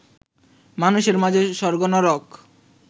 মানুষের মাঝে স্বর্গ নরক